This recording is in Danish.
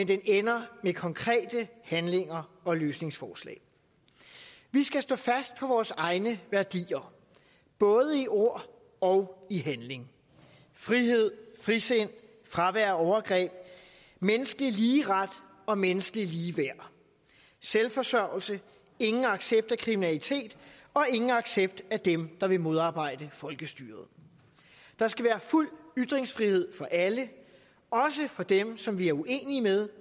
den ender med konkrete handlinger og løsningsforslag vi skal stå fast på vores egne værdier både i ord og i handling frihed frisind fravær af overgreb menneskelig ligeret og menneskelig ligeværd selvforsørgelse ingen accept af kriminalitet og ingen accept af dem der vil modarbejde folkestyret der skal være fuld ytringsfrihed for alle også for dem som vi er uenige med